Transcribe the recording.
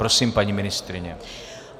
Prosím, paní ministryně.